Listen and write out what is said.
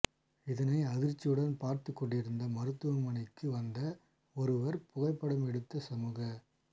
இதனை அதிர்ச்சியுடன் பார்த்து கொண்டிருந்த மருத்துவமனைக்கு வந்த ஒருவர் புகைப்படம் எடுத்து சமூக